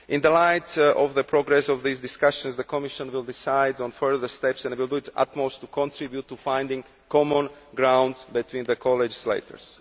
In light of the progress of these discussions, the Commission will decide on further steps and will do its utmost to contribute to finding common ground between the co legislators.